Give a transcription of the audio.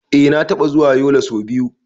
Eh na taɓa zuwa Yola so biyu.